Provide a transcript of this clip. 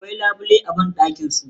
Akwai labule a banɗakin su.